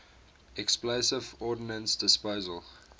explosive ordnance disposal